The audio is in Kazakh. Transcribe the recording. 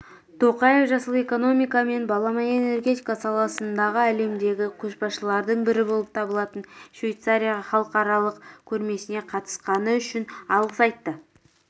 тоқаев жасыл экономика мен балама энергетика саласындағы әлемдегі көшбасшылардың бірі болып табылатын швейцарияға халықаралық көрмесіне қатысқаны үшін алғыс айтты